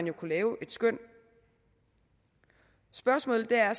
jo kunne lave et skøn spørgsmålet er